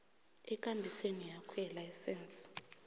ekambisweni yakho yelayisense